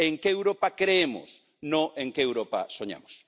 En qué Europa creemos, no con qué Europa soñamos.